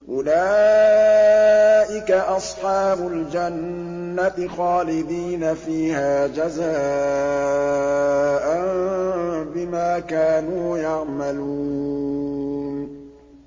أُولَٰئِكَ أَصْحَابُ الْجَنَّةِ خَالِدِينَ فِيهَا جَزَاءً بِمَا كَانُوا يَعْمَلُونَ